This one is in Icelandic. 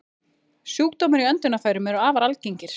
Sjúkdómar í öndunarfærum eru afar algengir.